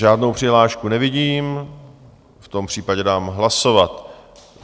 Žádnou přihlášku nevidím, v tom případě dám hlasovat.